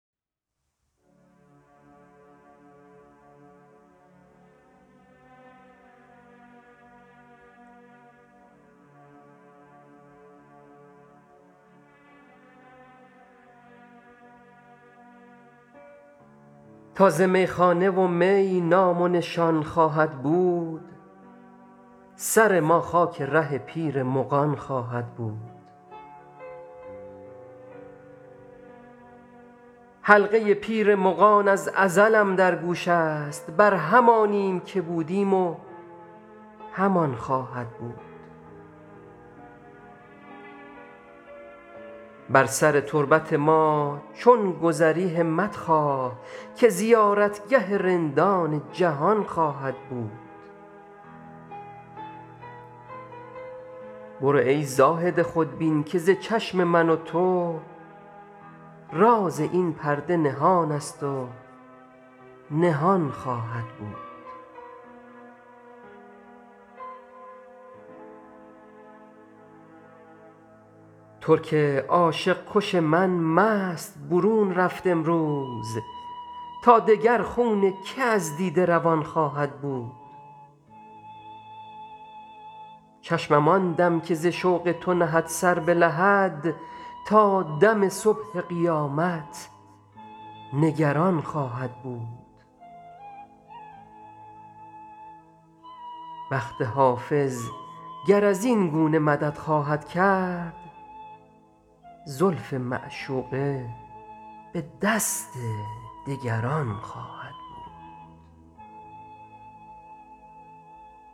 تا ز میخانه و می نام و نشان خواهد بود سر ما خاک ره پیر مغان خواهد بود حلقه پیر مغان از ازلم در گوش است بر همانیم که بودیم و همان خواهد بود بر سر تربت ما چون گذری همت خواه که زیارتگه رندان جهان خواهد بود برو ای زاهد خودبین که ز چشم من و تو راز این پرده نهان است و نهان خواهد بود ترک عاشق کش من مست برون رفت امروز تا دگر خون که از دیده روان خواهد بود چشمم آن دم که ز شوق تو نهد سر به لحد تا دم صبح قیامت نگران خواهد بود بخت حافظ گر از این گونه مدد خواهد کرد زلف معشوقه به دست دگران خواهد بود